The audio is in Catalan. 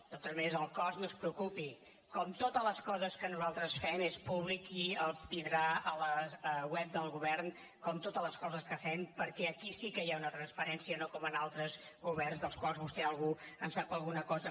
de totes maneres pel cost no es preocupi com totes les coses que nosaltres fem és públic i el tindrà a la web del govern com totes les coses que fem perquè aquí sí que hi ha una transparència no com en altres governs dels quals vostè en sap alguna cosa